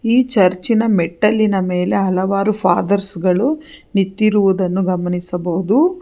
ಈ ಚರ್ಚಿನ ಮೆಟ್ಟಲಿನ ಮೇಲೆ ಹಲವಾರು ಫಾದರ್ಸ್ ಗಳು ನಿಂತಿರುವುದನ್ನು ಗಮನಿಸಬಹುದು.